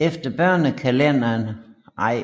Efter